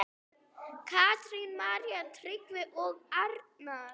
Katrín, María, Tryggvi og Arnar.